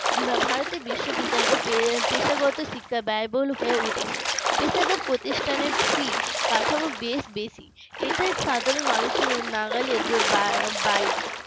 ভারতের বিশ্ববিদ্যালয় ও পেশাগত শিক্ষা ব্যয়বহুল হয়ে উঠেছে পেশাদার প্রতিষ্ঠানের fee কাঠামো বেশ বেশি এটাই সাধারণ মানুষের নাগালের বাইরে